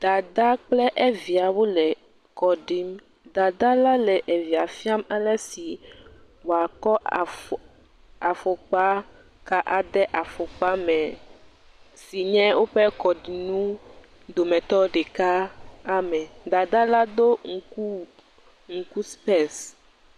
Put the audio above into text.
dada kple eviawo le kɔɖim dada la le evia fiam alesi woakɔ afɔ afɔkpa ka ade afɔkpa mɛ sinye wóƒe kɔɖiŋu dometɔ ɖeka amɛ, dadala do ŋkuwu ŋuku spɛc